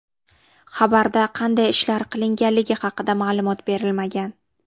Xabarda qanday ishlar qilinganligi haqida ma’lumot berilmagan.